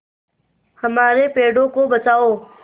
हमारे पेड़ों को बचाओ